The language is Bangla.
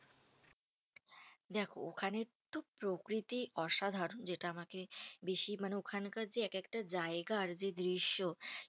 দেখো, ওখানের তো প্রকৃতি অসাধারণ যেটা আমাকে বেশি মানে ওখানকার যে এক একটা জায়গার যে দৃশ্য।